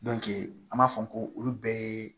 an b'a fɔ ko olu bɛɛ ye